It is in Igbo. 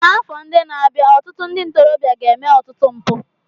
N'afọ ndị na-abịa, ọtụtụ ndị ntorobịa ga-eme ọtụtụ mpụ.